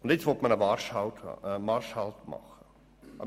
Nun will man einen Marschhalt einlegen.